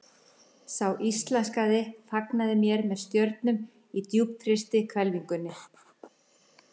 Sá íslenski fagnaði mér með stjörnum á djúpfrystri hvelfingunni.